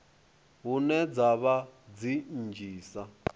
hune dza vha dzi nnzhisa